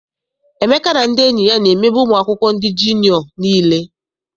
Emeka na ndị enyi ya na-emegbu ụmụ akwụkwọ ndị jiniọ nile.